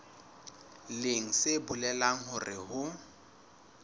leng se bolelang hore ho